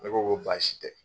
Ne ko ko baasi tɛ